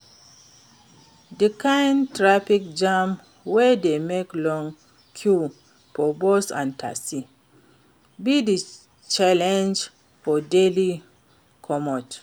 di kain traffic jam wey dey make long queues for bus and taxi be di challenge for daily commute.